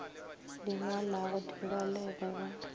di ngwalago di balege ba